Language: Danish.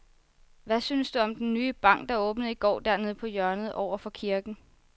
Hvad synes du om den nye bank, der åbnede i går dernede på hjørnet over for kirken?